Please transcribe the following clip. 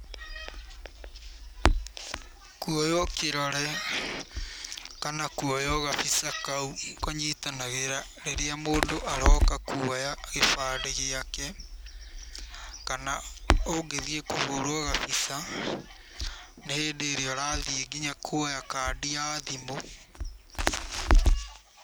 Kũoywo kĩrore kana kũoywo gabica kau kũnyitanagĩra rĩrĩa mũndũ aroka kuoya gĩbandĩ gĩake, kana ũngĩthiĩ kũhũrwo gabica, nĩ hĩndĩ ĩrĩa ũrathiĩ nginya kuoya kandi ya thimũ.